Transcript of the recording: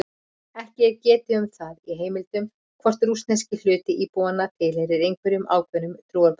Ekki er getið um það í heimildum hvort rússneski hluti íbúanna tilheyrir einhverjum ákveðnum trúarbrögðum.